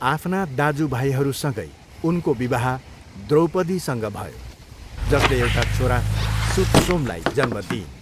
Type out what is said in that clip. आफ्ना दाजु भाइहरूसँगै उनको विवाह द्रौपदीसँग भयो जसले एउटा छोरा सुतसोमलाई जन्म दिइन्।